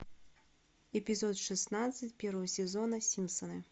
эпизод шестнадцать первого сезона симпсоны